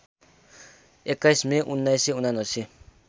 २१ May १९७९